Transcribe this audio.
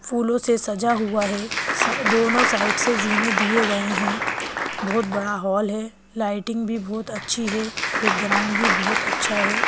फूलों से सजा हुआ है सा दोनों साइड से ज़ीने दिए गए हैं बहुत बड़ा हॉल है लाइटिंग भी बहुत अच्छी है बैकग्राउंड भी बहुत अच्छा है।